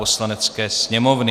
Poslanecké sněmovny